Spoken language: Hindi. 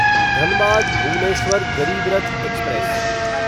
धनबाद भुवनेश्वर गरीब रथ एक्सप्रेस